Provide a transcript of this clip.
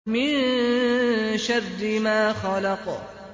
مِن شَرِّ مَا خَلَقَ